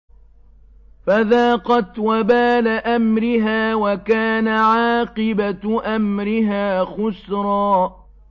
فَذَاقَتْ وَبَالَ أَمْرِهَا وَكَانَ عَاقِبَةُ أَمْرِهَا خُسْرًا